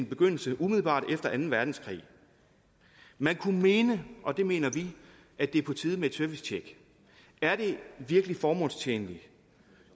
begyndelse umiddelbart efter anden verdenskrig man kunne mene og det mener vi at det er på tide med et servicetjek er det virkelig formålstjenligt